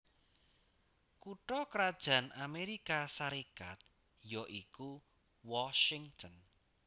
Kutha krajan Amérika Sarékat ya iku Washington